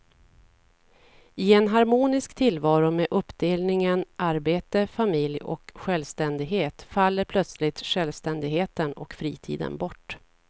I en harmonisk tillvaro med uppdelningen arbete, familj och självständighet faller plötsligt självständigheten och fritiden bort.